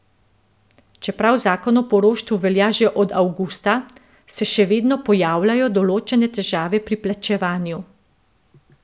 Čeprav zakon o poroštvu velja že od avgusta, se še vedno pojavljajo določene težave pri plačevanju.